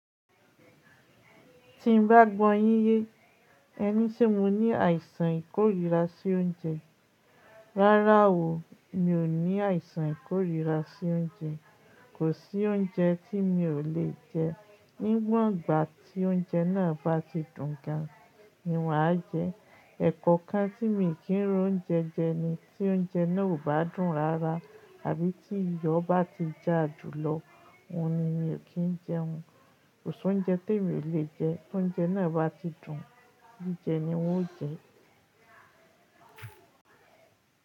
Tí n bá gbọ́ yín yé, ẹ ní ṣé mo ní àìsàn ìkórìíra sí oúnjẹ. Rárá o, mi ò ní àìsàn ìkórìíra sí oúnjẹ. Kò sí oúnjẹ tí mi ò lè jẹ. Níwòn ìgbà tí oúnjẹ náà bá ti dùn gan, ni wà á jẹ. Ẹ̀kọ̀kan tí mi kì ń ro oúnjẹ jẹ ni tí oúnjẹ náà ò bá dùn rara àbí tí iyọ̀ bá ti jà jù lọ, òhun ni mi ò kí ń jẹun. Kò sí oúnjẹ tí mi ò lè jẹ. Oúnjẹ náà bá ti dùn, jí jẹ ni n ó jẹ.